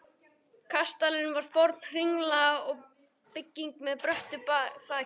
Kastalinn var forn hringlaga bygging með bröttu þaki.